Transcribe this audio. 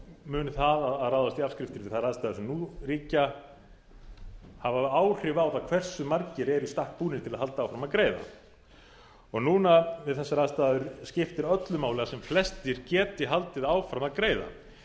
mun það að ráðast í afskriftir við þær aðstæður sem en ríkja hafa áhrif á það hversu margir eru í stakk búnir til að halda áfram að greiða það og núna við þessar aðstæður skiptir öllu máli að sem flestir geti haldið áfram að greiða